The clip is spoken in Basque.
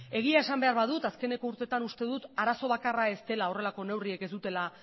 egia esan behar badut azkeneko urtetan uste dut arazo bakarra ez dela horrelako neurriek ez dutela